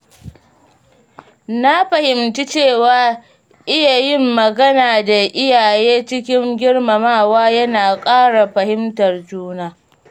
Na fahimci cewa iya yin magana da iyaye cikin girmamawa yana ƙara fahimtar juna.